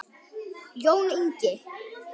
Jón Ingi.